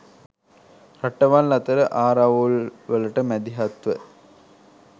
රටවල් අතර ආරවුල්වලට මැදිහත්ව